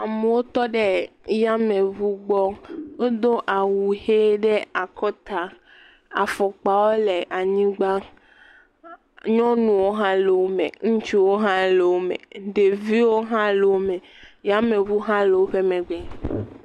Amewo tɔ ɖe yameŋu gbɔ wodo awu he ɖe akɔta, afɔkpawo le anyigba, nyɔnuwo hã le wo me, ŋutsuwo hã le wo me, ɖeviwo hã le wo me, yameŋu hã le woƒe megbe.